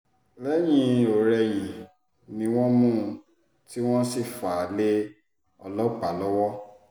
lẹ́yìn-ọ̀-rẹyìn ni wọ́n mú un tí wọ́n sì fà á lé ọlọ́pàá lọ́wọ́